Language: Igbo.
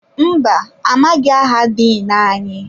Mbà, amaghị aha Diin anyị.